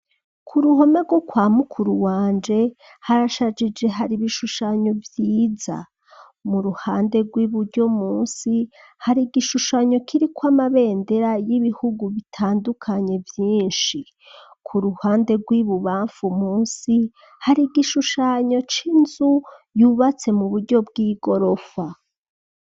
Ku ruhome rwo kwa mukuru wanje harashajije hari ibishushanyo vyiza mu ruhande rw'iburyo munsi hari igishushanyo kiriko ama bendera y'ibihugu bitandukanye vyishi kuruhande rw'ibibanfu munsi hari igishushanyo c'inzu yubatse mu buryo bw'igorofa.